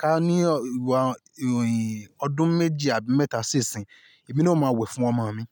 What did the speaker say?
ká ní ìwà han in ọdún méji àbí mẹ́ta sí ìsìn, èmi náà máa wẹ̀ fún ọmọ mi.